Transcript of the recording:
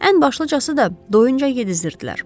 Ən başlıcası da doyunca yedizdirdilər.